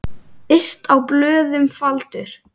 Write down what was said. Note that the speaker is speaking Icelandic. Yst á blöðum faldur.